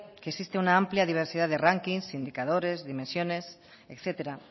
que existe una amplia diversidad de rankings indicadores dimensiones etcétera